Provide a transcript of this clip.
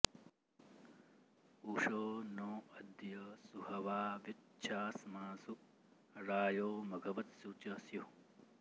उषो॑ नो अ॒द्य सु॒हवा॒ व्यु॑च्छा॒स्मासु॒ रायो॑ म॒घव॑त्सु च स्युः